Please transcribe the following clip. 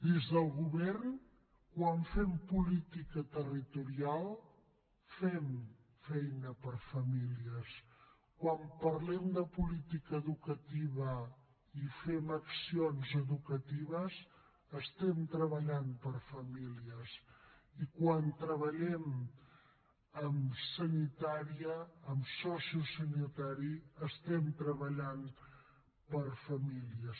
des del govern quan fem política territorial fem feina per a famílies quan parlem de política educativa i fem accions educatives estem treballant per a famílies i quan treballem en sanitària en sociosanitari estem treballant per a famílies